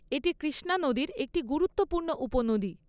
এটি কৃষ্ণা নদীর একটি গুরুত্বপূর্ণ উপনদী।